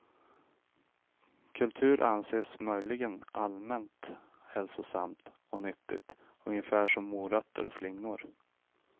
Kultur anses möjligen allmänt hälsosamt och nyttigt, ungefär som morötter och flingor.